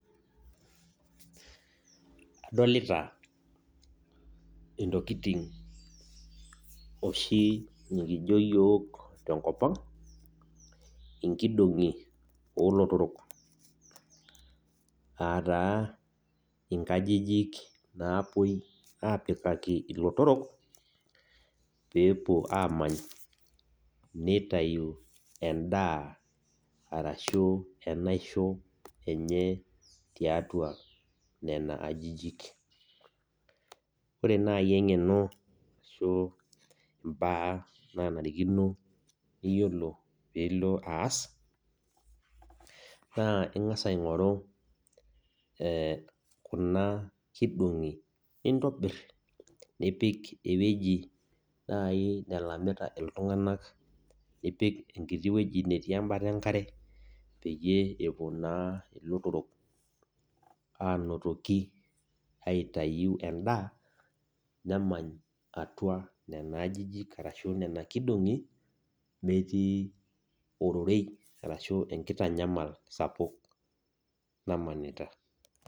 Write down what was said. Adolita intokitin oshi nekijo osi yiok tenkoapng' inkidongi oolotorok aa naa inkajijik naapuoi aapikaki ilotorok peepuo aamany nitau endaa arashu enaisi enye tiatua nena ajijik, ore naaji eng'eno araki imbaa naanarikino peyie ilo aas naa ing'as aing'oru kuna kindong'i nintobir nipik ewueji naaji nalamita atua ilntung'ana nipik enkiti wueji natii embata enkare peyie epuo naa lotorok enotok aitau enda namanya atua nena ajijik araki nena kindong'i metii ororei araki enkitanyamal sapuk namanita